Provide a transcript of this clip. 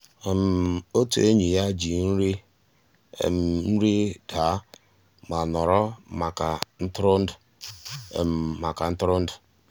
ótú ényí yá jì nrí nri dàà má nọ̀rọ́ màkà ntụ́rụ́èndụ́. màkà ntụ́rụ́èndụ́.